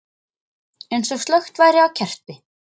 Eins og slökkt væri á kerti.